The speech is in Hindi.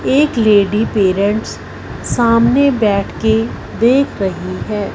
एक लेडी पेरेंट्स सामने बैठ के देख रही है।